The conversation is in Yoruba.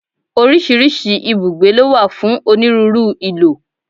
Oríṣiríṣi ibùgbé ló wà fún onírúurú ìlò.